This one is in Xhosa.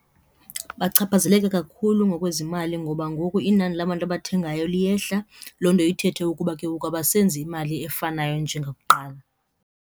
Bachaphazeleka kakhulu ngokwezimali ngoba ngoku inani labantu abathengayo liyehla loo nto ithethe ukuba ke ngoku abasenzi imali efanayo njengakuqala.